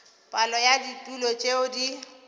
palo ya ditulo tšeo di